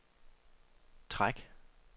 træk